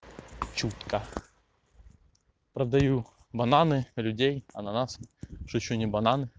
чутко продаю бананы людей ананасы что ещё не бананы